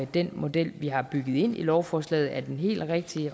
den model vi har bygget ind i lovforslaget er den helt rigtige